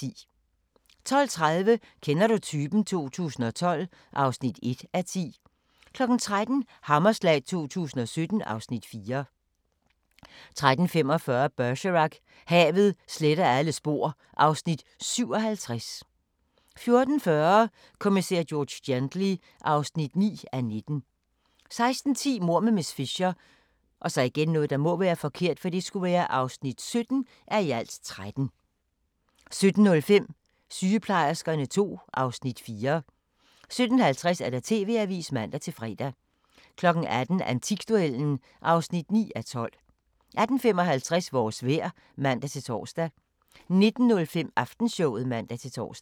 12:30: Kender du typen? 2012 (1:10) 13:00: Hammerslag 2017 (Afs. 14) 13:45: Bergerac: Havet sletter alle spor (Afs. 57) 14:40: Kommissær George Gently (9:19) 16:10: Mord med miss Fisher (17:13) 17:05: Sygeplejerskerne II (Afs. 4) 17:50: TV-avisen (man-fre) 18:00: Antikduellen (9:12) 18:55: Vores vejr (man-tor) 19:05: Aftenshowet (man-tor)